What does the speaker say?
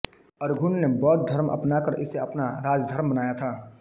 Arghun ने बौद्ध धर्म अपना कर इसे अपना राजधर्म बनाया था